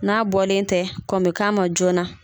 N'a bɔlen tɛ kɔn me k'a ma joona.